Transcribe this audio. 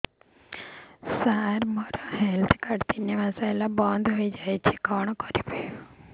ସାର ମୋର health card ତିନି ମାସ ହେଲା ବନ୍ଦ ହେଇଯାଇଛି କଣ କରିବି